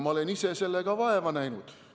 Ma olen ise sellega vaeva näinud.